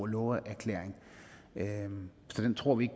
love erklæring så tror vi